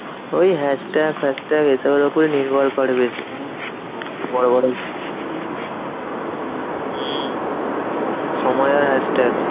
ওই hashtag ফ্যাশট্যাগ এসবের উপর নির্ভর করে বেশি। হম সময় আর hashtag